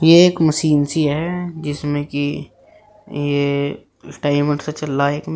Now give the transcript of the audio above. ये एक मशीन सी है जिसमें की ये टाइमर सा चल रहा है एक मे --